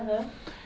Aham.